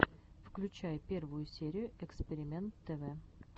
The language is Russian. включай первую серию экспиримэнт тв